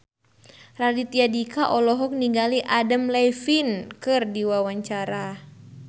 Raditya Dika olohok ningali Adam Levine keur diwawancara